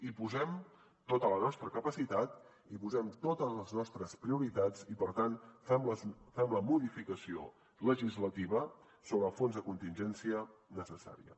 hi posem tota la nostra capacitat hi posem totes les nostres prioritats i per tant fem la modificació legislativa sobre el fons de contingència necessària